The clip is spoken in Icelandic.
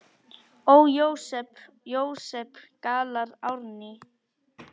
Ó, Jósep, Jósep, galar Árný.